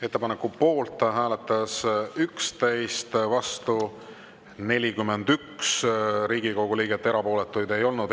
Ettepaneku poolt hääletas 11, vastu 41 Riigikogu liiget, erapooletuid ei olnud.